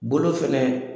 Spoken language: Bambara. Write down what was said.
Bolo fɛnɛ